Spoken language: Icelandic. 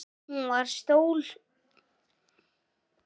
Hún var stór sál.